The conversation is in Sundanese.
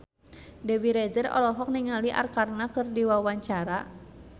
Dewi Rezer olohok ningali Arkarna keur diwawancara